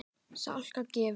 Salka gefur út.